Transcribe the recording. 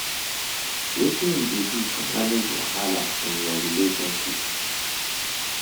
Wetin you dey do to manage wahala in your relationships?